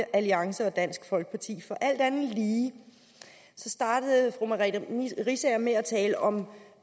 alliance og dansk folkeparti alt andet lige startede fru merete riisager med at tale om